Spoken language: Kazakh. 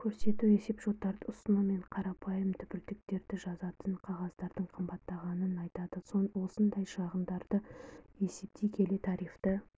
көрсету есепшоттарды ұсыну мен қарапайым түбіртектерді жазатын қағаздардың қымбаттағанын айтады осындай шығындарды есептей келе тарифті